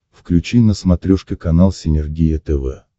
включи на смотрешке канал синергия тв